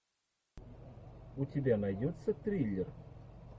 у тебя найдется триллер